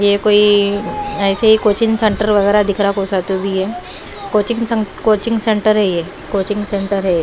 ये कोई ऐसे ही कोचिंग सेंटर वगैरह दिख रहा कोसा तो भी ये कोचिंग कोचिंग सेंटर है ये कोचिंग सेंटर है।